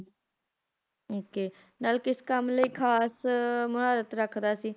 okay ਨਲ ਕਿਸ ਕੰਮ ਲਈ ਖਾਸ ਮਹਰਥ ਰੱਖਦਾ ਸੀ ਘੋੜ ਦੌੜਾਣ ਚ